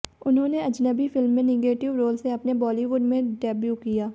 उन्होंने अजनबी फिल्म में negative role से अपने बॉलीवुड में डेब्यू किया